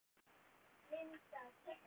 Linda: Hvernig hélstu áfram?